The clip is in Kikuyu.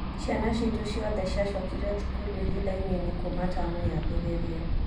Ciana citũ ciothe ciacokire thukuru ihinda inini kuma tamu yambĩrĩrie